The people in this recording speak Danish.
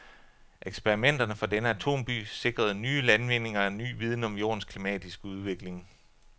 Eksperimenterne fra denne atom-by sikrede nye landvindinger af ny viden om jordens klimatiske udvikling.